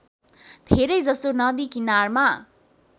धेरैजसो नदी किनारमा